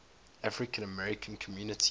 african american community